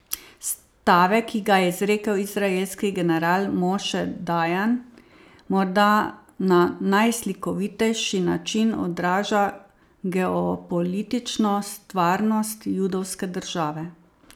Stavek, ki ga je izrekel izraelski general Moše Dajan, morda na najslikovitejši način odraža geopolitično stvarnost judovske države.